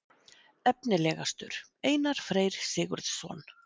Efnilegastur: Einar Freyr Sigurðsson.